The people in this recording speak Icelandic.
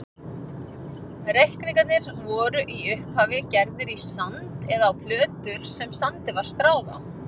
Reikningar voru í upphafi gerðir í sand eða á plötur sem sandi var stráð á.